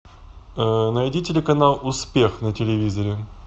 найди телеканал успех на телевизоре